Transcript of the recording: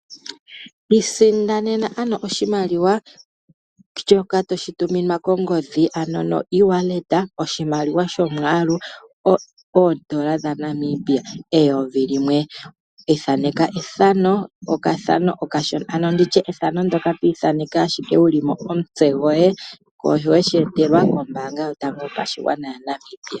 Isindanena ano oshimaliwa shoka toshi tuminwa kongodhi oshimaliwa shomwaalu oodola dhaNamibia eyovi limwe. Ithaneka ethano ano ethano ndoka twithaneke ashike wulimo omutse goye shono weshi etelwa kombaanga yotango yopashigwana yaNamibia.